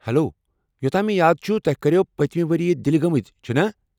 Hello, یوٚتام مےٚ یاد چُھ توہہِ كریو پٔتِمہ ؤری دِلہِ گٲمٕتۍ، چُھنا؟